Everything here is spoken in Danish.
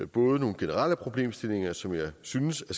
både nogle generelle problemstillinger som jeg synes at